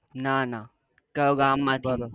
ના ના કયો ગામ માંથી